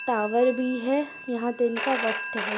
Tower भी है यहा दिन का वक्त है।